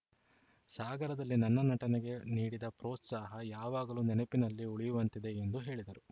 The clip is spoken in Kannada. ಸಾಗರದಲ್ಲಿ ನನ್ನ ನಟನೆಗೆ ನೀಡಿದ ಪ್ರೋತ್ಸಾಹ ಯಾವಗಲೂ ನೆನಪಿನಲ್ಲಿ ಉಳಿಯುವಂತಿದೆ ಎಂದು ಹೇಳಿದರು